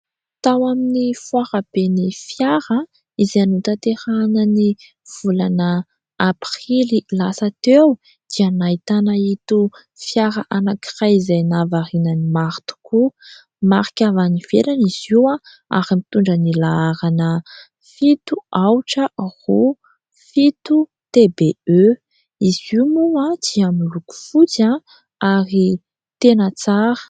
Tao amin'ny foara ben'ny fiara izay notaterahina ny volana aprily lasa teo dia nahitana ito fiara anankiray izay nahavariana ny maro tokoa. Marika avy any ivelany izy io ary mitondra ny laharana " fito, aotra, roa, fito TBE". Izy io moa dia miloko fotsy ary tena tsara.